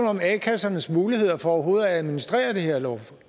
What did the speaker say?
om a kassernes muligheder for overhovedet at administrere det her